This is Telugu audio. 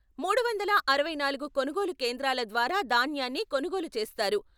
మూడు వందల అరవై నాలుగు కొనుగోలు కేంద్రాల ద్వారా ధాన్యాన్ని కొనుగోలు చేస్తారు.